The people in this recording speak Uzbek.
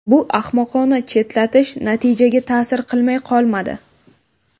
Bu ahmoqona chetlatish natijaga ta’sir qilmay qolmadi.